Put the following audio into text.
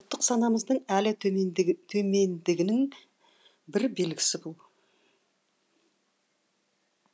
ұлттық санамыздың әлі төмендігінің бір белгісі бұл